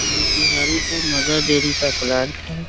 मोतिहारी का Mother Dairy का plant है।